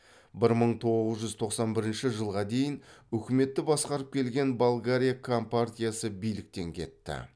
бір мың тоғыз жүз тоқсан бірінші жылға дейін үкіметті басқарып келген болгариякомпартиясы биліктен кетті